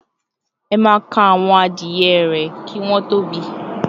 "Ema ka awon adie re ki won to bi,"